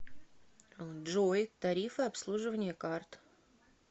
джой тарифы обслуживания карт